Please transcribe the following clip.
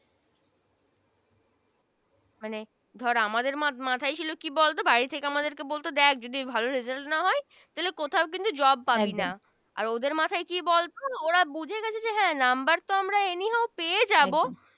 মানে ধর আমাদের মাথায় ছিলো কি বলতো বাড়ি থেকে আমাদের বলতো দেখ যদি ভালো Result না হয় তাইলে কোথাও কিন্তু Job পাবি না আর ওদের মাথায় কি বলতো ওরা বুঝে গেছে যে হ্যা Number তো Any how পেয়ে যাবো